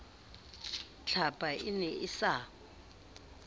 tlhapa e ne e sa